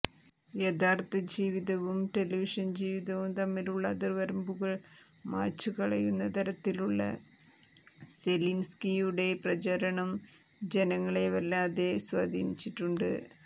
യാഥാർത്ഥജീവിതവും television ജീവിതവും തമ്മിലുള്ള അതിർവരമ്പുകൾ മായ്ചുകളയുന്ന തരത്തിലുള്ള സെലിൻസ്കിയുടെ പ്രചാരണം ജനങ്ങളെ വല്ലാതെ സ്വാധീനിച്ചിട്ടുണ്ട്